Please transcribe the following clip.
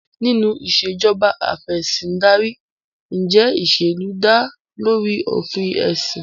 Nínú Ìṣèjọba Af'ẹ̀sìndarí, ǹjẹ́ ìṣèlú dá lórí òfin ẹ̀sìn?